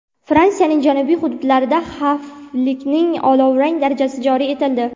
Fransiyaning janubiy hududlarida xavflilikning olovrang darajasi joriy etildi.